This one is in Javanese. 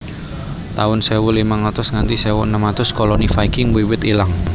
taun sewu limang atus nganthi sewu enem atus Koloni Viking wiwit ilang